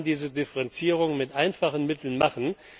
Man kann diese Differenzierung mit einfachen Mitteln machen.